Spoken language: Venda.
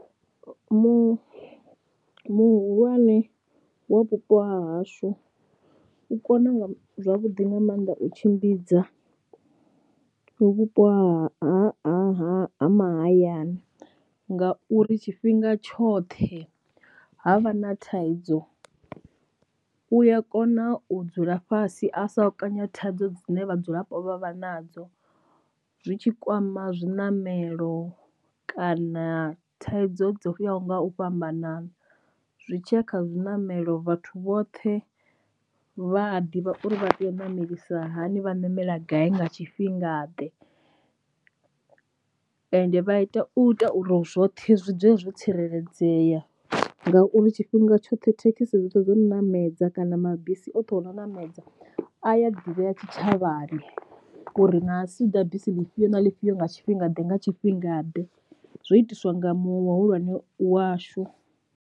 Mu muhulwane wa vhupo hahashu u kona zwavhuḓi nga maanḓa u tshimbidza u vhupo ha ha ha mahayani ngauri tshifhinga tshoṱhe ha vha na thaidzo u ya kona u dzula fhasi a sa kanya thaidzo dzine vhadzulapo vha vha nadzo zwitshi kwama zwiṋamelo kana thaidzo dzo yaho nga u fhambanana. Zwi tshiya kha zwiṋamelo vhathu vhoṱhe vha a ḓivha uri vha tea u namelisa hani vha ṋamela gai nga tshifhinga ḓe, ende vha ita u ita uri zwoṱhe zwi dzule zwo tsireledzea ngauri tshifhinga tshoṱhe thekhisi zwoṱhe zwo ṋamedza kana mabisi oṱhe o no ṋamedza a ya ḓivhea tshitshavhani uri na asi ḓa bisi ḽifhio na ḽifhio nga tshifhinga ḓe nga tshifhinga ḓe zwo itiswa nga muṅwe wa muhulwane washu.